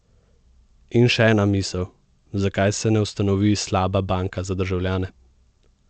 In še ena misel, zakaj se ne ustanovi slaba banka za državljane?